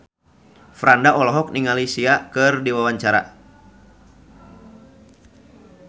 Franda olohok ningali Sia keur diwawancara